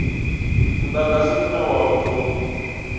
mudagasi une wa u tou